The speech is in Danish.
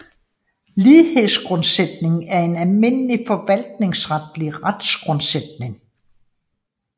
Lighedsgrundsætningen er en almindelig forvaltningsretlig retsgrundsætning